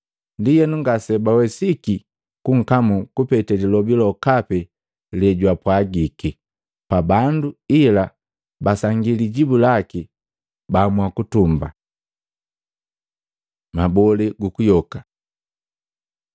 Ndienu ngasebawesiki kunkamu kupete lilobi lokapi lejwapwagiki pa bandu ila basangi lijibu laki baamua kutumba. Mabolee gukuyoka Matei 22:23-33; Maluko 12:18-27